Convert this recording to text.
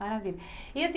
Maravilha. E assim